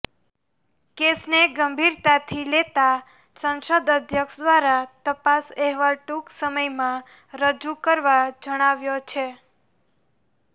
કેસને ગંભીરતાથી લેતા સંસદ અધ્યક્ષ દ્વારા તપાસ અહેવાલ ટૂંક સમયમાં રજૂ કરવા જણાવ્યો છે